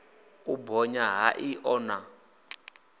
u bonya ha iṱo na